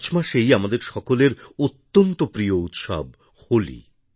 March মাসেই আমাদের সকলের অত্যন্ত প্রিয় উৎসব হোলি